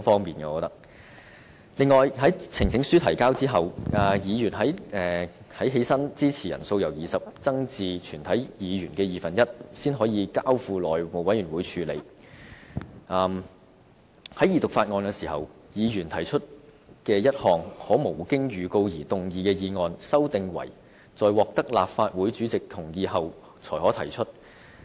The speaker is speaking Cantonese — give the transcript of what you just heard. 此外，關於在提交呈請書後，議員站立支持的人數由20人增至全體議員的二分之一，才能交付內務委員會處理的修訂，以及在二讀法案時，議員提出一項可無經預告而動議的議案，修訂為在獲得立法會主席同意後才可提出的建議。